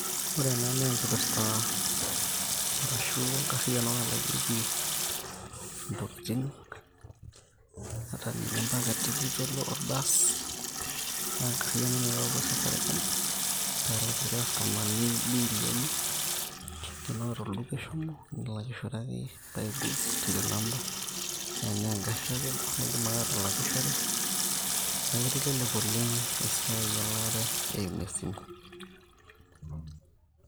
Ore ena naa enkipirta arashu enkarriyiano nalakieki intokiting, ata ninye mpaka tikit orbaas, nengarriyiano naitautuo Safaricom pelakie irkastomani biili enye, tenaa olduka eshomo, nilakishore akeyie, buy goods till number. Na enaa egarri itakedo, nidim ake atalakishore. Neeku kitelelek oleng' esiai elaare eimu esimu.